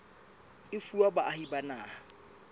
e fuwa baahi ba naha